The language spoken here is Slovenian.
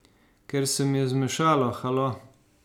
Ker se mi je zmešalo, halo!